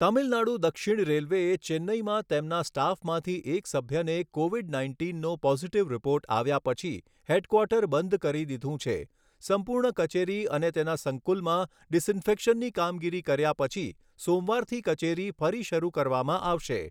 તમિલનાડુ દક્ષિણ રેલ્વેએ ચેન્નઇમાં તેમના સ્ટાફમાંથી એક સભ્યને કોવિડ નાઇન્ટીનનો પોઝિટીવ રીપોર્ટ આવ્યા પછી હેડક્વાર્ટર બંધ કરી દીધું છે. સંપૂર્ણ કચેરી અને તેના સંકુલમાં ડિસઇન્ફેક્શનની કામગીરી કર્યા પછી સોમવારથી કચેરી ફરી શરૂ કરવામાં આવશે.